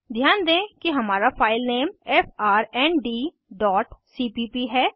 ध्यान दें कि हमारा फाइल नेम frndसीपीप है